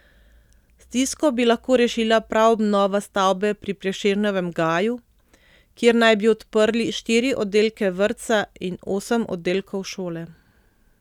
Stisko bi lahko rešila prav obnova stavbe pri Prešernovem gaju, kjer naj bi odprli štiri oddelke vrtca in osem oddelkov šole.